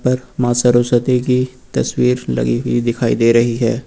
ऊपर मां सरस्वती की तस्वीर लगी हुई दिखाई दे रही है।